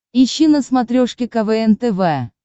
ищи на смотрешке квн тв